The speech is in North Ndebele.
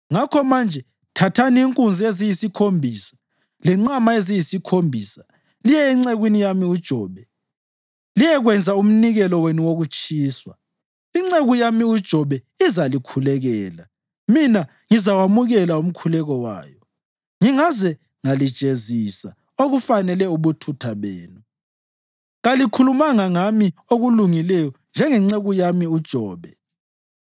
Ngakho manje thathani inkunzi eziyisikhombisa lenqama eziyisikhombisa liye encekwini yami uJobe liyekwenza umnikelo wenu wokutshiswa. Inceku yami uJobe izalikhulekela, mina ngizawamukela umkhuleko wayo ngingaze ngalijezisa okufanele ubuthutha benu. Kalikhulumanga ngami okulungileyo njengenceku yami uJobe.”